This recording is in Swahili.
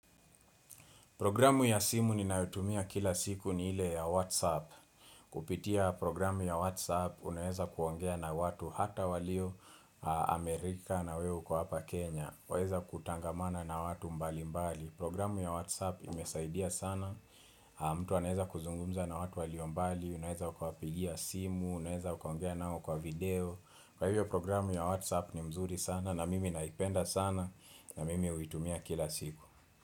Programu ya simu ni nayotumia kila siku ni ile ya WhatsApp. Kupitia programu ya WhatsApp, unaweza kuongea na watu hata walio Amerika na weu kwa hapa Kenya. Unaweza kutangamana na watu mbali mbali. Programu ya WhatsApp imesaidia sana. Mtu anaweza kuzungumza na watu walio mbali. Unaweza ukwapigia simu, unaweza kuongea nao kwa video. Kwa hivyo programu ya WhatsApp ni mzuri sana na mimi naipenda sana na mimi huitumia kila siku.